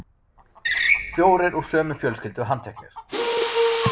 Fjórir úr sömu fjölskyldu handteknir